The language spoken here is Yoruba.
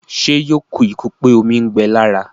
Ṣé yóò kú ikú pé omi ń gbẹ lára?